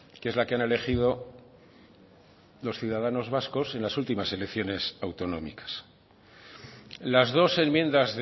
que es la que han elegido los ciudadanos vascos en las últimas elecciones autonómicas las dos enmiendas